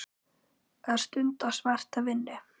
Að stunda svarta vinnu.